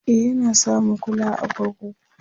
e Yana samun kulawa a kurkuku